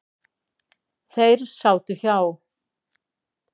Þeir sátu hjá.